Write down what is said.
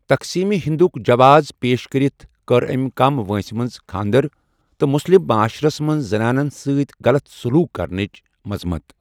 تقسیٖم ہندُک جواز پیش کٔرِتھ کٔر أمۍ کم وٲنٛسہِ منٛز خانٛدَر تہٕ مُسلم معاشرَس منٛز زنانَن سۭتۍ غلط سلوک کرنِچ مذمت۔